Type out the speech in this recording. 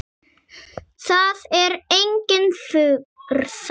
Það er engin furða.